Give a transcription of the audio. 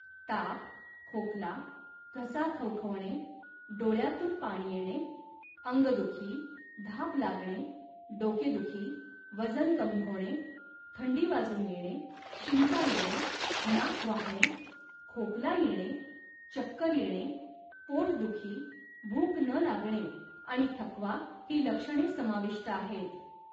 ताप, खोकला, घसा खवखवणे, डोळ्यांतून पाणी येणे, अंगदुखी, धाप लागणे, डोकेदुखी, वजन कमी होणे, थंडी वाजून येणे, शिंका येणे, नाक वाहणे, खोकला येणे, चक्कर येणे, पोटदुखी, भूक न लागणे आणि थकवा ही लक्षणे समाविष्ट आहेत.